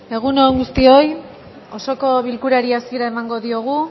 egun on guztioi osoko bilkurari hasiera emango diogu